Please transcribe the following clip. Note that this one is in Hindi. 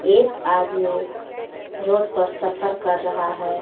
एक आदमी रोड पर सफर कर रहा हे.